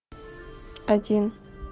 один